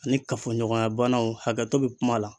Ani kafoɲɔgɔnya banaw hakɛto bɛ kuma la.